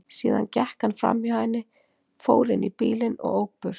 Síðan gekk hann framhjá henni, fór inn í bílinn og ók burt.